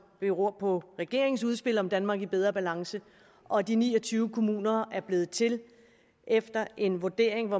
beror på regeringens udspil om danmark i bedre balance og de ni og tyve kommuner er blevet til efter en vurdering